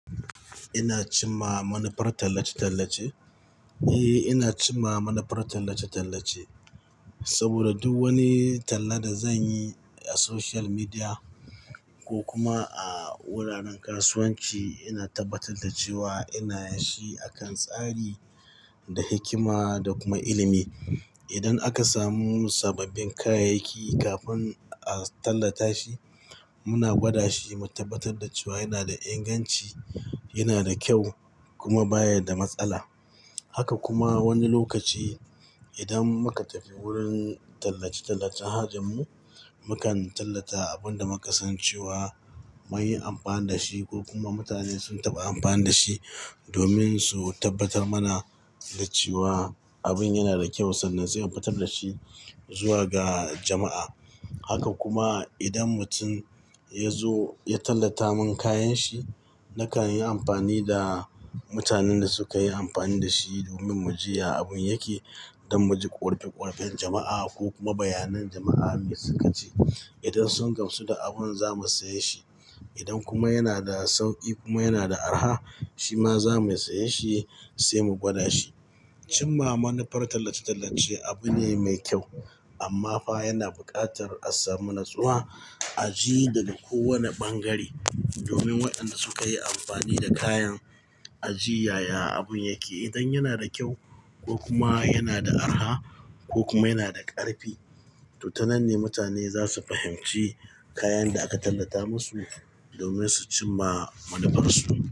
Ina cimma manufar tallace-tallace? Eh, ina cimma manufar tallace-tallace saboda duk wani talla da zan yi a social media ko kuma a wuraren kasuwanci, ina tabbatar da cewa ina yin shi a kan tsari da hikima da kuma ilimi. Idan aka samu sababbin kayayyaki kafin a tallata shi, muna gwada shi mu tabbatar da cewa yana da inganci, yana da kyau kuma baya da matsala. Haka kuma wani lokaci idan muka tafi wurin tallace-tallacen hajar mu, mukan tallata abin da muka san cewa mun yi amfani da shi ko kuma mutane sun taɓa amfani da shi domin su tabbatar mana da cewa abin yana da kyau sannan sai infitar da shi zuwa ga jama'a. Haka kuma idan mutum ya zo ya tallata mun kayan shi, nakan yi amfani da mutanen da suka yi amfani da shi domin mu ji ya abin yake don mu ji korafe-korafen jama'a ko kuma bayanan jama'a me suka ce. Idan sun gamsu da abin za mu saye shi. Idan kuma yana da sauƙi kuma yana da arha, shi ma za mu saye shi sai mu gwada shi. Cimma manufar tallace-tallace abu ne mai kyau amma fa yana buƙatar a samu natsuwa a ji da duk wani ɓangare domin waɗanda suka yi amfani da kayan a ji yaya abun yake. Idan yana da kyau ko kuma yana da arha ko kuma yana da ƙarfi, to tanan ne mutane za su fahimci kayan da aka tallata masu domin su cimma manufarsu.